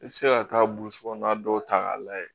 I bɛ se ka taa burusi kɔnɔna dɔw ta k'a lajɛ